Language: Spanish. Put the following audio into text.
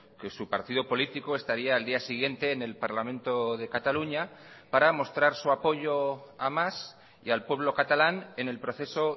que su partido político estaría el día siguiente en el parlamento de cataluña para mostrar su apoyo a mas y al pueblo catalán en el proceso